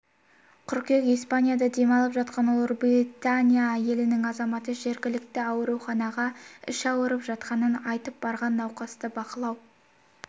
қыркүйек испанияда демалып жатқан ұлыбритания елінің азаматы жергілікті ауруханаға іші ауырып жатқанын айтып барған науқасты бақылау